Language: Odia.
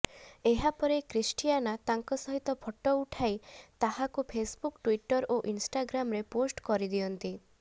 ଏହାପରେ କ୍ରିଷ୍ଟିଆନା ତାଙ୍କ ସହିତ ଫଟୋ ଉଠାଇ ତାହାକୁ ଫେସବୁକ୍ ଟୁଇଟର ଏବଂ ଇନଷ୍ଟାଗ୍ରାମରେ ପୋଷ୍ଟ କରିଦିଅନ୍ତି